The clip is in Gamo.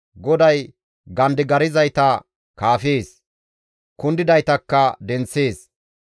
GODAY gandigarzayta kaafees; kundidaytakka denththees.